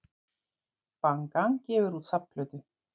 Bang Gang gefur út safnplötu